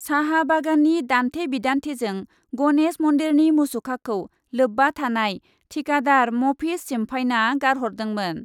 साहा बागाननि दान्थे बिदान्थेजों गनेश मन्दिरनि मुसुखाखौ लोब्बा थानाय टिकादार मफिज सिमफायना गारहरदोंमोन ।